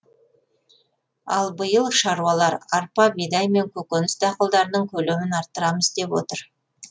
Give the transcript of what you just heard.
ал биыл шаруалар арпа бидай мен көкөніс дақылдарының көлемін арттырамыз деп отыр